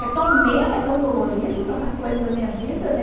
É tão meu, é tão dolorido, tanta coisa da minha vida, né?